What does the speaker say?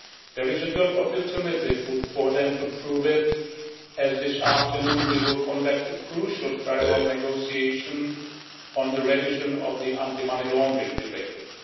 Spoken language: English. There is a good opportunity for them to prove that, as this afternoon we will conduct a crucial trilogue negotiation on the revision of the Anti-Money Laundering Directive.